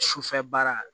Sufɛ baara